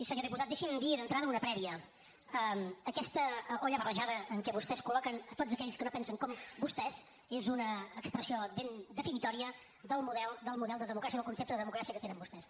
senyor diputat deixi’m dir d’entrada una prèvia aquesta olla barrejada en què vostè col·loquen a tots aquells que no pensen com vostès és una expressió ben definitòria del model de democràcia o del concepte de democràcia que tenen vostès